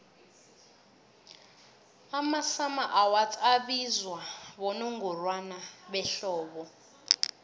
amasummer awards abizwa bonongorwana behlobo